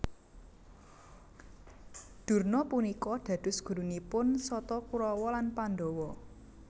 Durna punika dados gurunipun Sata Kurawa lan Pandhawa